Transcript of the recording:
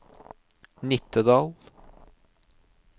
Nittedal